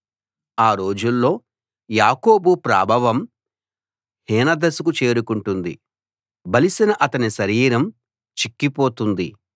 ఆ రోజుల్లో యాకోబు ప్రాభవం హీన దశకు చేరుకుంటుంది బలిసిన అతని శరీరం చిక్కి పోతుంది